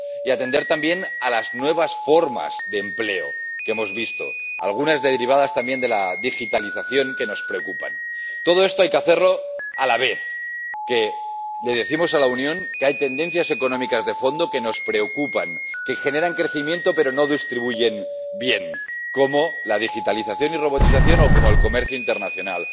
y atender también a las nuevas formas de empleo que hemos visto —algunas derivadas también de la digitalización— que nos preocupan. Todo esto hay que hacerlo a la vez que le decimos a la Unión que hay tendencias económicas de fondo que nos preocupan, que generan crecimiento pero no distribuyen bien, como la digitalización y robotización o como el comercio internacional